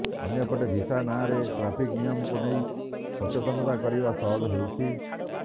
ଅନ୍ୟପଟେ ଭିସା ନଁରେ ଟ୍ରାଫିକ ନିୟମକୁ ନେଇ ସଚେତନତା କରିବା ସହଜ ହେଉଛି